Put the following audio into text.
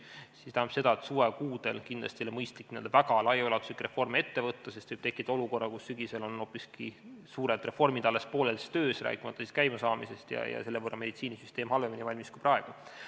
See tähendab, et suvekuudel ei ole kindlasti mõistlik väga laiaulatuslikke reforme ette võtta, sest see võib sügisel tekitada olukorra, kus suured reformid on alles pooles töös, rääkimata nende käimasaamisest, ja selle võrra on meditsiinisüsteem sel juhul halvemini valmis kui praegu.